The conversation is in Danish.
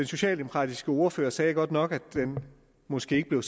socialdemokratiske ordfører sagde godt nok at den måske ikke bliver